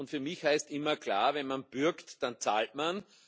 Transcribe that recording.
Für mich heißt immer klar Wenn man bürgt, dann zahlt man.